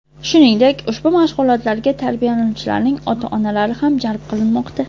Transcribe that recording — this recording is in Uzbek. Shuningdek, ushbu mashg‘ulotlarga tarbiyalanuvchilarning ota-onalari ham jalb qilinmoqda.